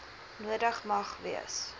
nodig mag wees